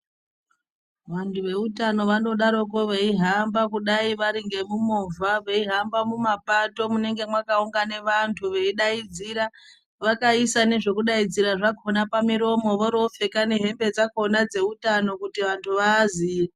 Vantu veutano vanodaroko veihamba kudai vari ngemumovha, veihamba mumapato munonga mwakaungane vantu veidaidzira vakaisa nezvekudaidzira zvakhona pamuromo voroopfeka nehembe dzakhona dzeutano kuti vanthu vaaziye.